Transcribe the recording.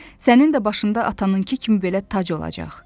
Sənin də başında atanınkı kimi belə tac olacaq.